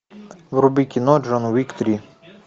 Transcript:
вруби кино джон уик три